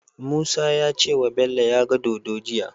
Musa yace wa Bello yaga dodo jiya